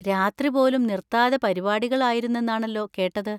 രാത്രി പോലും നിർത്താതെ പരിപാടികൾ ആയിരുന്നെന്നാണല്ലോ കേട്ടത്?